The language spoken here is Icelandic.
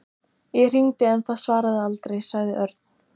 Ég hringdi en það svaraði aldrei. sagði Örn.